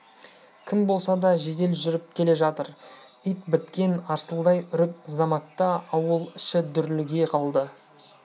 кім болса да жедел жүріп келе жатыр ит біткен арсылдай үріп заматта ауыл іші дүрліге қалды